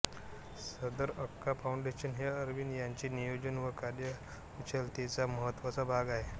सदर अक्का फाउंडेशन हे अरविंद यांच्या नियोजन व कार्यकुशलतेचा महत्वाचा भाग आहे